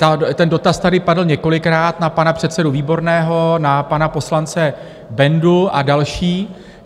Ten dotaz tady padl několikrát na pana předsedu Výborného, na pana poslance Bendu a další.